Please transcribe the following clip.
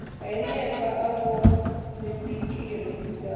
hanefha a vhofha dzibiriki dzawe